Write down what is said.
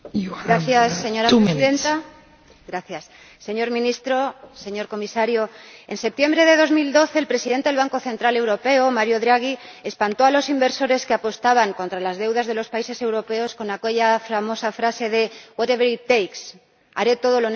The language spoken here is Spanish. Señora Presidenta, señor Ministro, señor Comisario, en septiembre de 2012 el Presidente del Banco Central Europeo, Mario Draghi, espantó a los inversores que apostaban contra las deudas de los países europeos con aquella famosa frase de —haré todo lo necesario—.